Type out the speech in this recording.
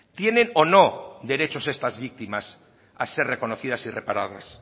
tienen o no derechos estas víctimas a ser reconocidas o reparada